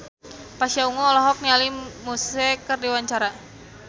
Pasha Ungu olohok ningali Muse keur diwawancara